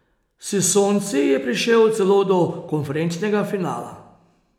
S Sonci je prišel celo do konferenčnega finala.